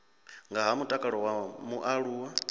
nga ha mutakalo wa mualuwa